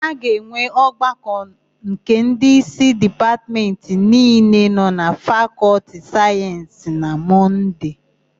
A ga-enwe ọgbakọ nke ndịísí Dipatmentị niile nọ na Fakọltị Sayensị na Mọnde.